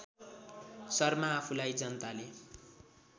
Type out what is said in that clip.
शर्मा आफूलाई जनताले